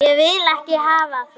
Ég vil ekki hafa það.